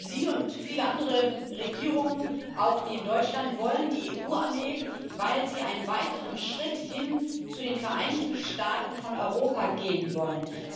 Sie und viele andere Regierungen auch die in Deutschland wollen die EU Armee, weil Sie einen weiteren Schritt hin zu den Vereinigten Staaten von Europa gehen wollen.